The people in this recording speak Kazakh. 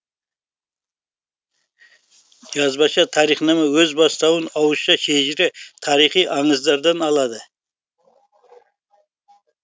жазбаша тарихнама өз бастауын ауызша шежіре тарихи аңыздардан алады